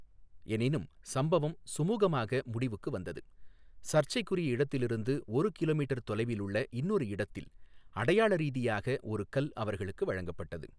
எனினும் சம்பவம் சுமூகமாக முடிவுக்கு வந்தது, சர்ச்சைக்குரிய இடத்திலிருந்து ஒரு கிமீ தொலைவிலுள்ள இன்னொரு இடத்தில் அடையாள ரீதியாக ஒரு கல் அவர்களுக்கு வழங்கப்பட்டது.